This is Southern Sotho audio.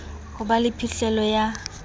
ho ba le phihlelo ya